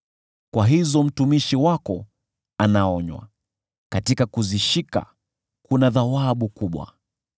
Kwa hizo mtumishi wako anaonywa, katika kuzishika kuna thawabu kubwa.